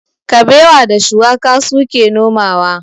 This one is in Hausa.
Kabewa da shuwaka su ke nomawa.